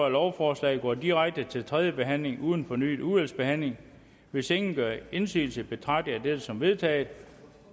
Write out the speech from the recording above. at lovforslaget går direkte til tredje behandling uden fornyet udvalgsbehandling hvis ingen gør indsigelse betragter jeg dette som vedtaget